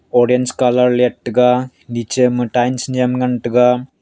orange colour lettaga nichema tile nyem ngantaga.